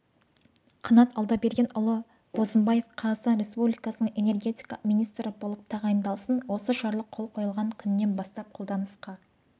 қанат алдабергенұлы бозымбаев қазақстан республикасының энергетика министрі болып тағайындалсын осы жарлық қол қойылған күнінен бастап қолданысқа